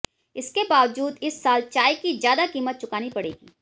इसके बावजूद इस साल चाय की ज्यादा कीमत चुकानी पड़ेगी